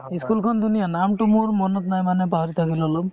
school খন ধুনীয়া নামটো মোৰ মনত নাই মানে পাহৰি থাকিলো অলপ